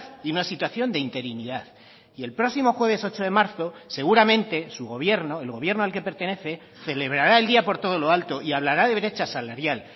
y una situación de interinidad y el próximo jueves ocho de marzo seguramente su gobierno el gobierno al que pertenece celebrará el día por todo lo alto y hablará de brecha salarial